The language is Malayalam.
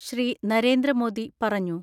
ശ്രീ. നരേന്ദ്രമോദി പറഞ്ഞു.